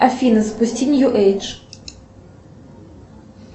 афина спусти нью эйдж